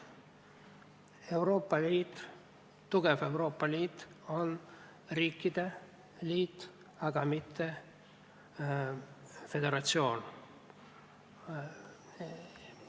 Euroopa Liit, tugev Euroopa Liit on riikide liit, aga mitte föderatsioon.